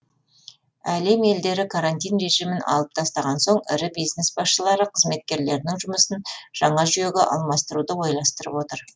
әлем елдері карантин режимін алып тастаған соң ірі бизнес басшылары қызметкерлерінің жұмысын жаңа жүйеге алмастыруды ойластырып отыр